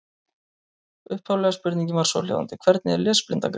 Upphaflega spurningin var svohljóðandi: Hvernig er lesblinda greind?